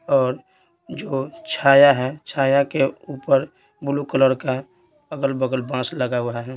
और जो छाया है छाया के ऊपर ब्लू कलर का अगल-बगल बांस लगा हुआ है।